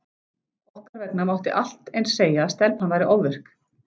Okkar vegna mátti allt eins segja að stelpan væri ofvirk.